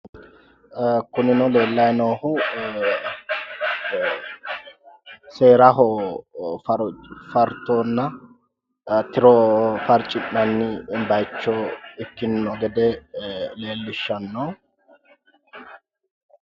Kunino leellayi noohu seeraho farconna tiro farci'nanni bayicho ikkino gede leellishanno